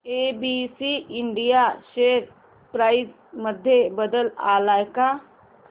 ABC India share price मध्ये बदल आलाय का